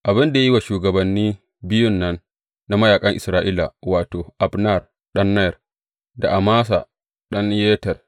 Abin da ya yi wa shugabanni biyun nan na mayaƙan Isra’ila, wato, Abner ɗan Ner, da Amasa ɗan Yeter.